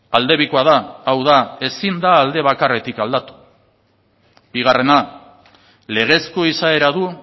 aldebikoa da hau da ezin da alde bakarretik aldatu bigarrena legezko izaera du